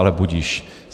Ale budiž.